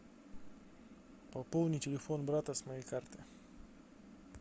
пополни телефон брата с моей карты